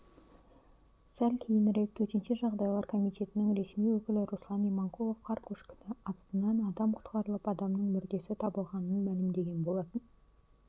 сәл кейінірек төтенше жағдайлар комитетінің ресми өкілі руслан иманқұлов қар көшкіні астынан адам құтқарылып адамның мүрдесі табылғанын мәлімдеген болатын